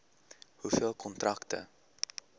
hoeveel kontrakte